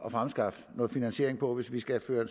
at fremskaffe noget finansiering på hvis vi skal føre